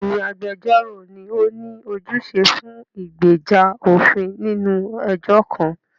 Bẹ́ẹ̀ni, agbẹjọ́rò ni ó ní ojúṣe fún ìgbèjà òfin nínú ẹjọ́ kan.